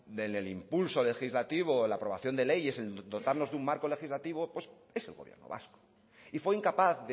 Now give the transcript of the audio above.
en el impulso legislativo la aprobación de leyes de dotarnos de un marco legislativo es el gobierno vasco y fue incapaz